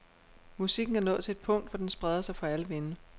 Musikken er nået til et punkt, hvor den spreder sig for alle vinde.